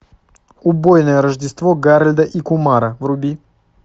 убойное рождество гарольда и кумара вруби